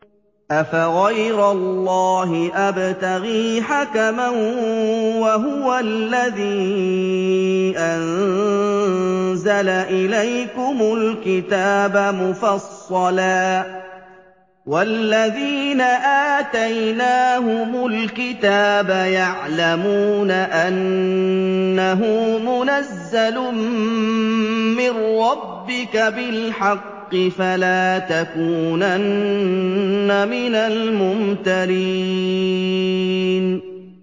أَفَغَيْرَ اللَّهِ أَبْتَغِي حَكَمًا وَهُوَ الَّذِي أَنزَلَ إِلَيْكُمُ الْكِتَابَ مُفَصَّلًا ۚ وَالَّذِينَ آتَيْنَاهُمُ الْكِتَابَ يَعْلَمُونَ أَنَّهُ مُنَزَّلٌ مِّن رَّبِّكَ بِالْحَقِّ ۖ فَلَا تَكُونَنَّ مِنَ الْمُمْتَرِينَ